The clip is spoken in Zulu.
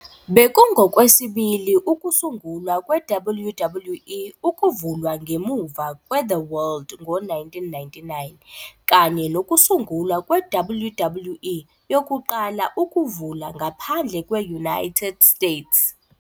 Bekungokwesibili ukusungulwa kwe-WWE ukuvulwa ngemuva kweThe World ngo-1999, kanye nokusungulwa kwe-WWE yokuqala ukuvula ngaphandle kwe- United States.